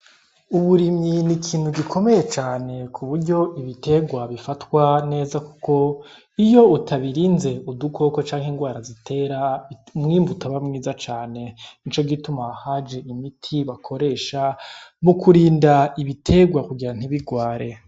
Uburimyi ni ikintu gikomeye cane ku buryo ibiterwa bifatwa neza kuko iyo utabirinze udukoko canke ingwara zitera umwimbu utaba mwiza cane, nico gituma haje imiti bakoresha mu kurinda ibiterwa kugira ngo ntibigware.